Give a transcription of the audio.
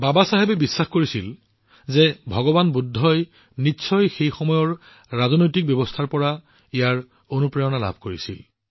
বাবাচাহেবে বিশ্বাস কৰিছিল যে ভগৱান বুদ্ধই নিশ্চয় সেই সময়ৰ ৰাজনৈতিক ব্যৱস্থাৰ পৰা অনুপ্ৰেৰণা লাভ কৰিছিল